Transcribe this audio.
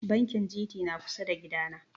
Bankin Gt na kusa da gida na